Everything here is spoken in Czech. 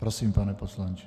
Prosím, pane poslanče.